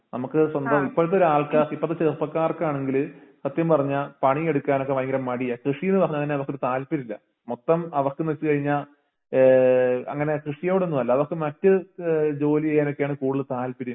നമുക്ക് സ്വന്തം ഈപ്പഴത്തെയൊരാൾക്കാർക്ക് ഇപ്പഴത്തെചെറുപ്പകാർക്കാണെങ്കില് സത്യംപറഞ്ഞാ പണിയെടുക്കാനൊക്കെബയങ്കരമടിയ കൃഷിനുപറഞ്ഞതന്നെവർക്കോര്താല്പര്യവില്ല മൊത്തം അവസ്ഥത്തേന്ന് വെച്ചുകഴിഞ്ഞാ ഏഹ്ഹ് അങ്ങനെ കൃഷിയോടൊന്നുവല്ല അവർക്ക് മറ്റ് ഏഹ് ജോലിചെയ്യാനോക്കെയാണ് കൂടുതലുതാല്പര്യം.